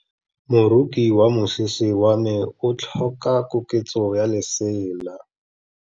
Moroki wa mosese wa me o tlhoka koketsô ya lesela.